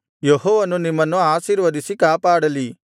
ಯೆಹೋವನು ನಿಮ್ಮನ್ನು ಆಶೀರ್ವದಿಸಿ ಕಾಪಾಡಲಿ